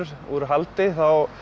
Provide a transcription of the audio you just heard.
úr haldi þá